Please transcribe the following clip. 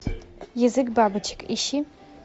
язык бабочек ищи